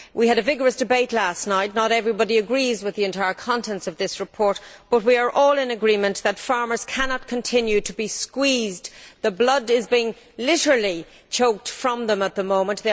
We had a vigorous debate last night. Not everybody agrees with the entire contents of this report, but we are all in agreement that farmers cannot continue to be squeezed. The blood is literally being squeezed out of them at the moment.